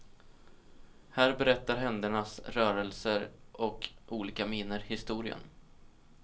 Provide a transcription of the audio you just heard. Här berättar händernas rörelser och olika miner historien.